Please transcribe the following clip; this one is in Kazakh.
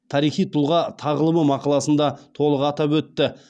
тарихи тұлға тағылымы мақаласында толық атап өтті